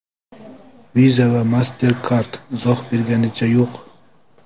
Visa va MasterCard izoh berganicha yo‘q.